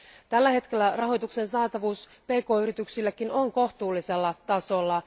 Tällä hetkellä rahoituksen saatavuus pk yrityksillekin on kohtuullisella tasolla.